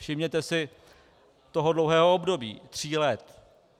Všimněte si toho dlouhého období tří let.